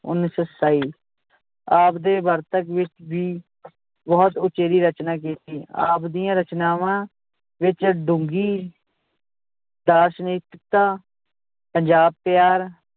ਉੱਨੀ ਸੌ ਸਤਾਈ ਆਪਦੇ ਵਾਰਤਕ ਵਿਚ ਵੀ ਬਹੁਤ ਉਚੇਰੀ ਰਚਨਾ ਕੀਤੀ ਆਪ ਦੀਆਂ ਰਚਨਾਵਾਂ ਵਿਚ ਡੂੰਗੀ ਦਾਰਸ਼ਨਿਕਤਾ ਪੰਜਾਬ ਪਿਆਰ